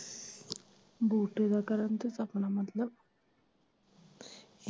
ਬੂਟੇ ਦਾ, ਕਰਨ ਤੇ ਸਪਨਾ ਮਤਲਬ।